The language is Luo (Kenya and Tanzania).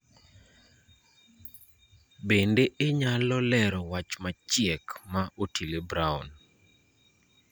Bende inyalo lero wach machiek ma Otile Brown